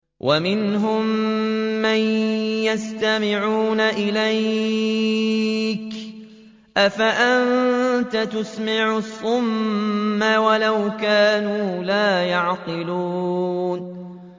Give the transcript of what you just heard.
وَمِنْهُم مَّن يَسْتَمِعُونَ إِلَيْكَ ۚ أَفَأَنتَ تُسْمِعُ الصُّمَّ وَلَوْ كَانُوا لَا يَعْقِلُونَ